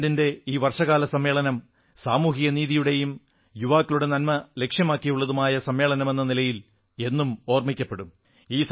പാർലമെന്റിന്റെ ഈ വർഷകാല സമ്മേളനം സാമൂഹിക നീതിയുടെയും യുവാക്കളുടെ നന്മലക്ഷ്യമാക്കിയുള്ളതുമായ സമ്മേളനമെന്ന നിലയിൽ എന്നും ഓർമ്മിക്കപ്പെടും